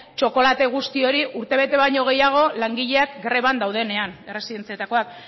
txokolate guzti hori urtebete baino gehiago langileak greban daudenean erresidentziakoak